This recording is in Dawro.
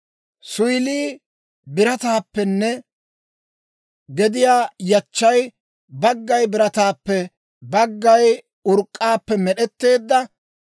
suyilii birataappenne gediyaw yachchay baggay birataappe baggay urk'k'aappe med'etteedda.